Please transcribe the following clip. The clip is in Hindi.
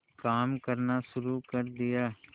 काम करना शुरू कर दिया